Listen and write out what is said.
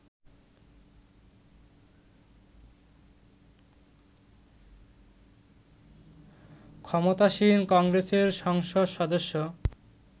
ক্ষমতাসীন কংগ্রেসের সংসদ সদস্য